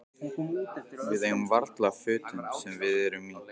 Við eigum varla fötin sem við erum í.